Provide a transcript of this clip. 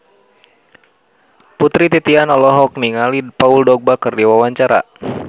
Putri Titian olohok ningali Paul Dogba keur diwawancara